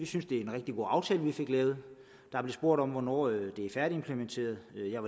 synes det er en rigtig god aftale vi fik lavet der blev spurgt om hvornår det er færdigimplementeret og jeg